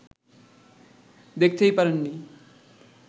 দেখতেই পারেননি